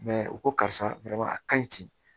u ko karisa a ka ɲi ten